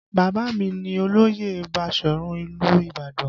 Baba mi ní olóyè Basọ̀run ìlú Ibadan